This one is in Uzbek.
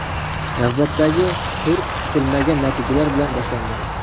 Navbatdagi tur kutilmagan natijalar bilan boshlandi.